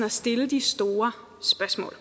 og stille de store spørgsmål